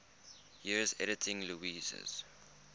years editing lewes's